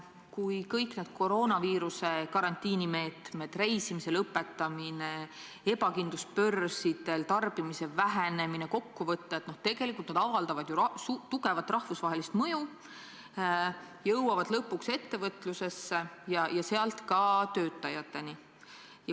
Kui kõik need koroonaviiruse karantiini tagajärjed – reisimise lõpetamine, ebakindlus börsidel, tarbimise vähenemine – kokku võtta, siis need avaldavad tugevat rahvusvahelist mõju, jõuavad lõpuks ettevõtlusesse ja sealt ka töötajateni.